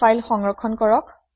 file সংৰক্ষণ কৰক